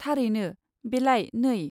थारैनो, बेलाय नै।